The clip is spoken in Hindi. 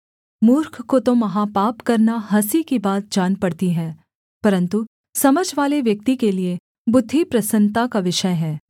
मूर्ख को तो महापाप करना हँसी की बात जान पड़ती है परन्तु समझवाले व्यक्ति के लिए बुद्धि प्रसन्नता का विषय है